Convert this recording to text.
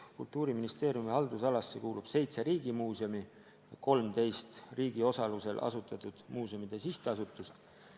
Kultuuriministeeriumi haldusalasse kuulub seitse riigimuuseumi ja 13 riigi osalusel asutatud muuseumide sihtasutust.